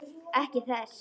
Ekki þess.